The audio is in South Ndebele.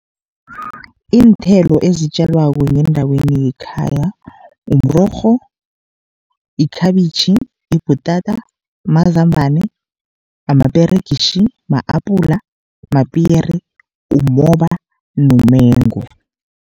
Iinthelo ezitjalwako ngendaweni yekhaya mrorho, ikhabitjhi, ibhutata, mazambane, amaperegitjhi, ma-apula, mapiyeri, umoba nomengu.